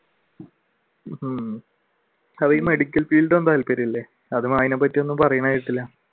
ഉം അതീ medical field ഒന്നും താല്പര്യം ഇല്ലേ അതിനെപ്പറ്റിയൊന്നും പറയുന്നത് കേട്ടില്ല